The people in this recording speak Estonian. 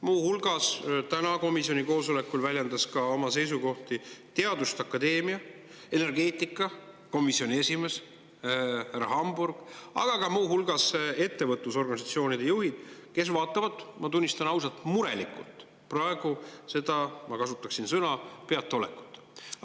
Muu hulgas väljendas täna komisjoni koosolekul oma seisukohti teaduste akadeemia energeetikakomisjoni esimees härra Hamburg, aga seda on teinud ka ettevõtlusorganisatsioonide juhid, kes vaatavad, ma tunnistan ausalt, murelikult praegu seda, ma kasutaksin sõna "peataolekut".